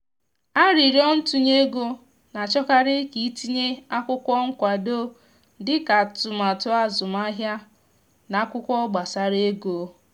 aririo ntunye ego na achọkarị ka i tinye akwụkwọ nkwado dị ka atụmatụ azụmahịa na akwụkwọ gbasara ego